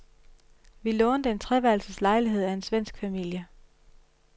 Vi lånte en treværelses lejlighed af en svensk familie.